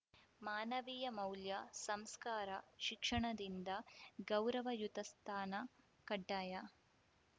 ಮಾನವೀಯ ಮೌಲ್ಯ ಸಂಸ್ಕಾರ ಶಿಕ್ಷಣದಿಂದ ಗೌರವಯುತ ಸ್ಥಾನ ಕಡ್ಡಾಯ